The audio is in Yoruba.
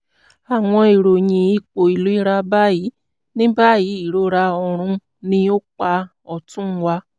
àwọn ìròyìn ipò ìlera báyìí: ní báyìí ìrora ọrùn ní apá ọ̀tún wà